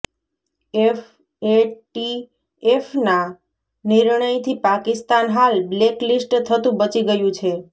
એફએટીએફના નિર્ણયથી પાકિસ્તાન હાલ black list થતુ બચી ગયું છે